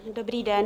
Dobrý den.